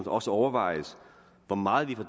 også overvejes hvor meget vi fra